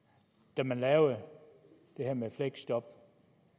da man lavede det her med fleksjob